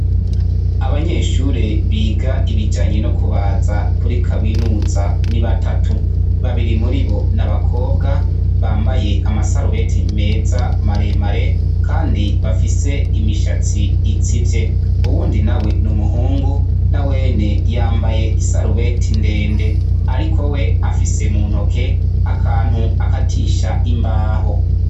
Abanyeshure biga ibijanye no kubaza kuri kaminuza ni batatu babiri muribo nabakobwa bambaye amasarubete meza maremare kandi bafise imishatsi itsivye uwundi nawe numuhungu nawene yambaye isarubeti ndende ariko we afise muntuke akantu akatisha imbaho